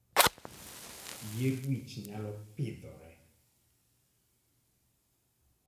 Yier wich nyalo pidhore